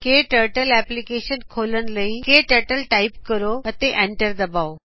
ਕੇ turtle application ਖੋਲਣ ਲਈ K turtle type ਕਰੋ ਅਤੇ ਐਂਟਰ ਦਬਾਓ